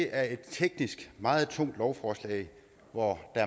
er et teknisk meget tungt lovforslag hvor